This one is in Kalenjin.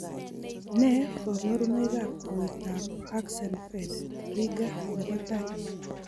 Nee kabarunoikab koroitoab Axenfeld Rieger nebo tai?